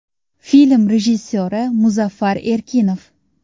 Film rejissyori Muzaffar Erkinov.